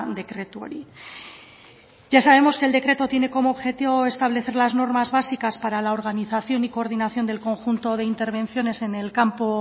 dekretu hori ya sabemos que el decreto tiene como objetivo establecer las normas básicas para la organización y coordinación del conjunto de intervenciones en el campo